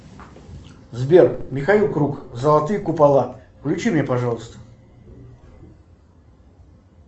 сбер михаил круг золотые купола включи мне пожалуйста